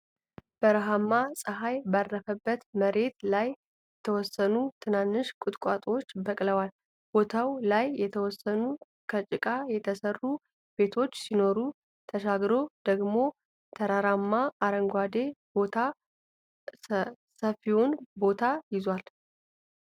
በረሃማ ጸሃይ ባረፈበት መሬት ላይ የተወሰኑ ትናንሽ ቁጥቋጦዎች በቅለዋል። ቦታው ላይ የተወሰኑ ከጭቃ የተሰሩ ቤቶች ሲኖሩ ተሻግሮ ደግሞ ተራራማ አረንጓዴ ቦታ ሰፊውን ቦታ ይዟል።